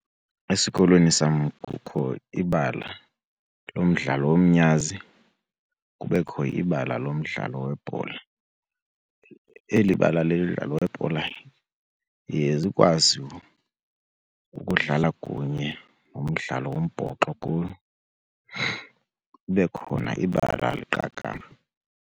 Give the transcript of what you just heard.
Esikolweni sam kukho ibala lomdlalo womnyazi kubekho ibala lomdlalo webhola. Eli bala lomdlalo webhola liye likwazi ukudlala kunye nomdlalo wombhoxo kuyo. Kube khona ibala leqakamba.